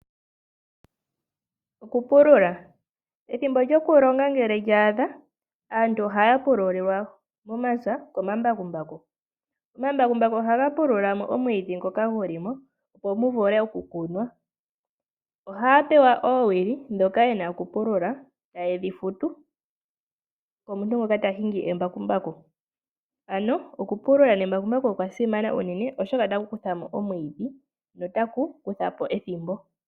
Okupulula, ethimbo lyokulonga ngele lyaadha aantu ohaya pululilwa momapya komambakumbaku. Omambakumbaku ohaga pulula mo omwiidhi ngoka gu li mo, opo mu vule okukunwa. Ohaya pewa oowili ndhoka yena okupulula etaye dhi futu omuntu ngoka ta hingi embakumbaku, ano okupulula nembakumbaku okwa simana, oshoka otaku kuthamo omwiidhi notaku ku tha po ethimbo.